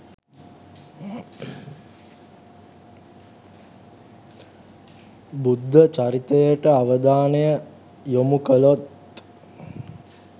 බුද්ධ චරිතයට අවධානය යොමු කළොත්